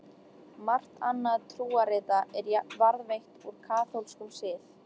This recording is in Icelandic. Margt annað trúarrita er varðveitt úr kaþólskum sið.